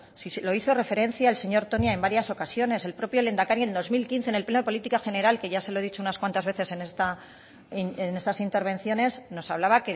si lo hizo referencia el señor toña en varias ocasiones el propio lehendakari en dos mil quince en el pleno de política general que ya se lo he dicho unas cuantas veces en estas intervenciones nos hablaba